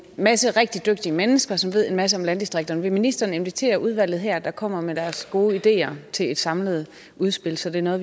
masse rigtig dygtige mennesker som ved en masse om landdistrikterne vil ministeren invitere udvalget her til at komme med deres gode ideer til et samlet udspil så det er noget